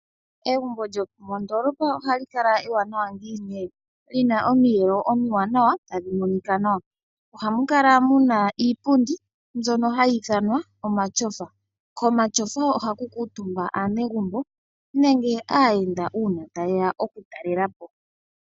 Egumbo lyomondolopa ohali kala ewanawa ngiini? Li na omiyelo omiwanawa tadhi monika nawa, ohamu kala muna iipundi mbyono hayi ithanwa omashofa. Komashofa ohaku kuutumba aanegumbo nenge aayenda, uuna taye ya okutalela po.